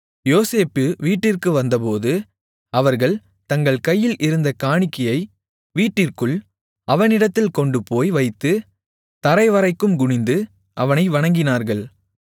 யோசேப்பு வீட்டிற்கு வந்தபோது அவர்கள் தங்கள் கையில் இருந்த காணிக்கையை வீட்டிற்குள் அவனிடத்தில் கொண்டுபோய் வைத்து தரைவரைக்கும் குனிந்து அவனை வணங்கினார்கள்